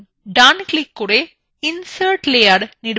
right click করে insert layer নির্বাচন করুন